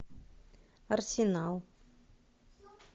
арсенал